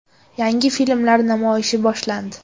Yangi filmlar namoyishi boshlandi.